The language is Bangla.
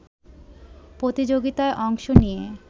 প্রতিযোগিতায় অংশ নিয়ে